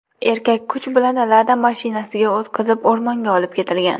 Erkak kuch bilan Lada mashinasiga o‘tqazilib o‘rmonga olib ketilgan.